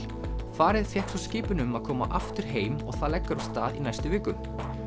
farið fékk svo skipun um að koma aftur heim og það leggur af stað í næstu viku